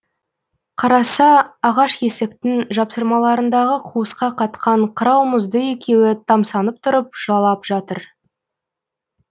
қараса ағаш есіктің жапсырмалырындағы қуысқа қатқан қырау мұзды екеуі тамсанып тұрып жалап жатыр